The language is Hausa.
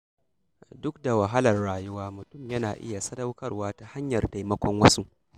Duk da wahalar rayuwa, mutum yana iya sadaukarwa ta hanyar taimakon wasu.